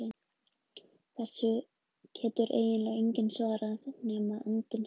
Þessu getur eiginlega enginn svarað nema andinn sjálfur.